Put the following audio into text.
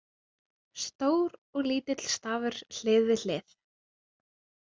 Stór og lítill stafur hlið við hlið.